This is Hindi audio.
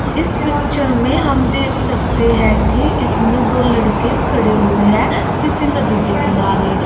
इस पिक्चर में हम देख सकते हैं कि इसमें दो लड़के खड़े हुए हैं किसी नदी के किनारे।